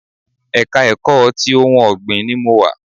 Ẹ̀ka ẹ̀kọ́ ti ohun ọ̀gbìn ni mo wà